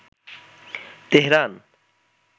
Tehran